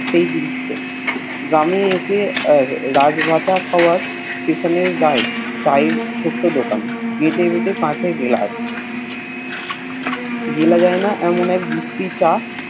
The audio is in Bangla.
সেই দৃশ গ্রামে এসে রাজ ভাতা হউয়ার স্টেশন আর গায়ে ছোট্ট দোকান তাতে কাছের গ্লাস গিলা যায়না এমন এক বিশ্রী চা